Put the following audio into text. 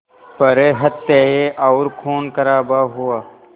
पर हत्याएं और ख़ूनख़राबा हुआ